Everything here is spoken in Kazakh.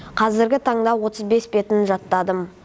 қазіргі таңда отыз бес бетін жаттадым